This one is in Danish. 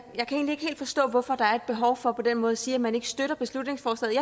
helt forstå hvorfor der er et behov for på den måde at sige at man ikke støtter beslutningsforslaget